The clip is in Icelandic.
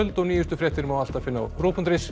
og nýjustu fréttir má alltaf finna á rúv punktur is